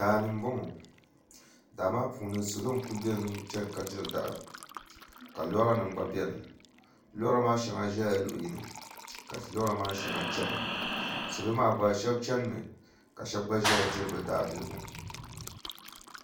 Daa ni m-bɔŋɔ daa maa puuni salo n-kuli beni chana ka diri dahi ka loorinima gba beni loorinima shɛŋa zala luɣ' yini ka loorinima maa shɛŋa chana salo maa gba shɛba chanimi ka shɛba gba zaya diri bɛ daabiligu